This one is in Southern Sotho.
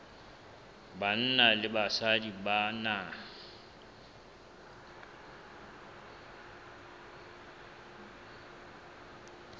banna le basadi ba na